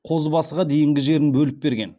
қозыбасыға дейінгі жерін бөліп берген